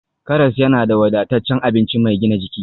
Karas yana da wadataccen abinci mai gina jiki